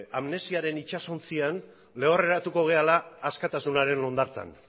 amnesiaren itsasontzian lehorreratuko garela askatasunaren hondartzan